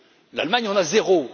L'Allemagne en a zéro.